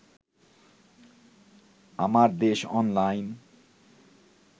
Amardesh online